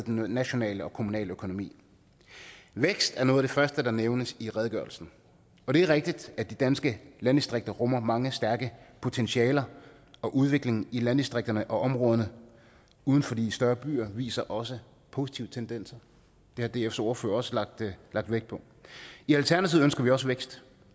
nationale og kommunale økonomi vækst er noget af det første der nævnes i redegørelsen og det er rigtigt at de danske landdistrikter rummer mange stærke potentialer og udviklingen i landdistrikterne og områderne uden for de større byer viser også positive tendenser det har dfs ordfører også lagt vægt på i alternativet ønsker vi også vækst